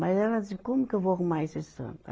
Mas ela disse, como que eu vou arrumar esse santo?